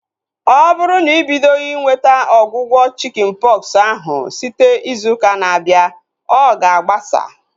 Ọ bụrụ na ị bidoghi inweta ọgwụgwọ chikin pọksi ahu site izu ụka na-abịa, ọ ga agbasa